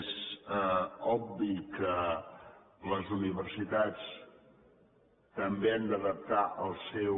és obvi que les universitats també han d’adaptar el seu